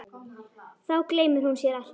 Þá gleymir hún sér alltaf.